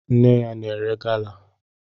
Nne ya na-ere gala